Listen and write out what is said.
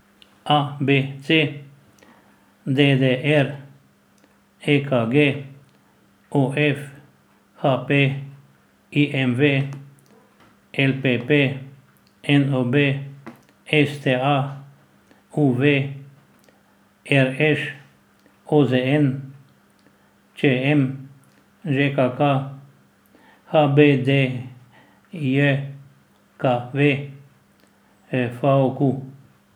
A B C; D D R; E K G; O F; H P; I M V; L P P; N O B; S T A; U V; R Š; O Z N; Č M; Ž K K; H B D J K V; F A Q.